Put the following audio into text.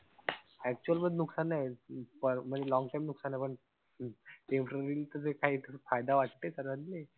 Actual मध्ये नुकसान नाही पण म्हणजे long time नुकसान आहे पण, paper लिहून त्याच काई फायदा वाटते का